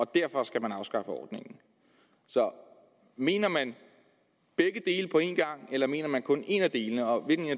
derfor skal afskaffe ordningen så mener man begge dele på en gang eller mener man kun en af delene og hvilken